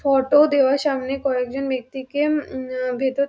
photo দেওয়া সামনে কয়েকজন ব্যক্তিকে উমম ভেতর--